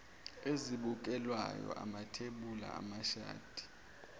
ezibukelwayo amathebuli amashadi